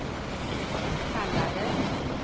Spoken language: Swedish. kallades